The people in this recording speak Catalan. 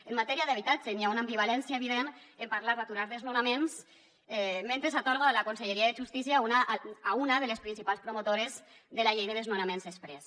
en matèria d’habitatge n’hi ha una ambivalència evident en parlar d’aturar desnonaments mentre s’atorga la conselleria de justícia a una de les principals promotores de la llei de desnonaments exprés